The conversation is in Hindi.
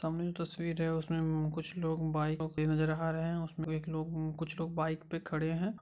सामने एक तस्वीर है उसमे कुछ लोग बाइ को किन रहा है उसमे एक कुछ लोग बाइक पे खड़े है ।